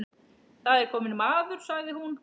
Það er kominn maður, sagði hún.